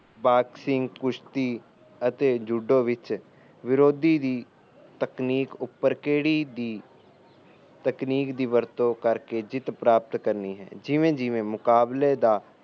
boxing ਕੁਸ਼ਤੀ ਅਤੇ judo ਵਿੱਚ ਵਿਰੋਧੀ ਦੀ ਤਕਨੀਕ ਉਪਰ ਕਿਹੜੀ ਦੀ ਤਕਨੀਕ ਦੀ ਵਰਤੋਂ ਕਰਕੇ ਜਿੱਤ ਪ੍ਰਾਪਤ ਕਰਨੀ ਹੈ ਜਿਵੇ ਜਿਵੇ ਮੁਕਾਬਲੇ ਦਾ